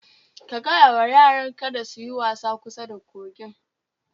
Ka gaya wa yaran ka su yi wasa kusa da kogin